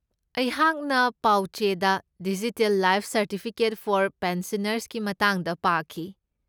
ꯑꯩꯍꯥꯛꯅ ꯄꯥꯎꯆꯦꯗ digital life certificate for ꯄꯦꯟꯁꯅꯔꯁꯀꯤ ꯃꯇꯥꯡꯗ ꯄꯥꯈꯤ꯫